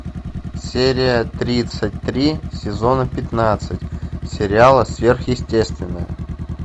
серия тридцать три сезона пятнадцать сериала сверхъестественное